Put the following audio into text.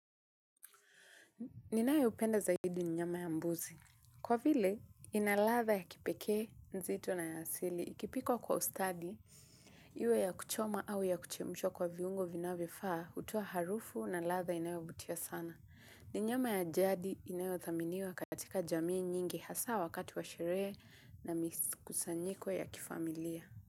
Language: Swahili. Ninayopenda zaidi ni nyama ya mbuzi. Kwa vile, ina ladha ya kipekee nzito na ya asili. Ikipikwa kwa ustadi, iwe ya kuchoma au ya kuchemsha kwa viungo vinayovifaa, utoa harufu na ladha inayovutia sana. Ni nyama ya jadi inayothaminiwa katika jamii nyingi hasa wakati wa sherehe na mikusanyiko ya kifamilia.